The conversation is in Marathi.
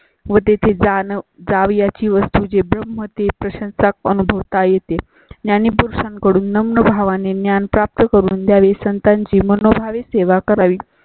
व तेथे जाण्या जावयाची वस्तु जे ब्रह्म अती प्रशंसा अनुभवता येते. याने पुरण कडून भावाने ज्ञान प्राप्त करून द्यावे. संताजी मनोभावे सेवा करावी